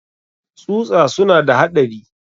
tsusa suna da haɗari.